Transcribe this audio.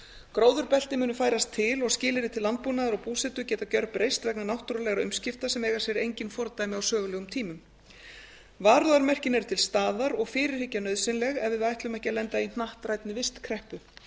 gróðurbelti munu færast til og skilyrði til landbúnaðar og búsetu geta gjörbreyst vegna náttúrulegra umskipta sem eiga sér engin fordæmi á sögulegum tímum varúðarmerkin eru til staðar og fyrirhyggja nauðsynleg ef við ætlum ekki að lenda í hnattrænni vistkreppu